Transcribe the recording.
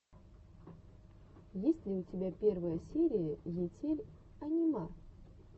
есть ли у тебя первая серия етель анима